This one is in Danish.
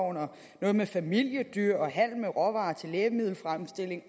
og noget med familiedyr og handel med råvarer til lægemiddelfremstilling